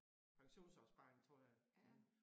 Pensionsopsparing tror jeg ting